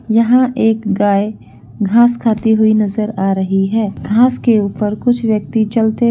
यहाँ एक गाय घास खाती हुई नजर आ रही है घास के ऊपर कुछ व्यक्ति चलते --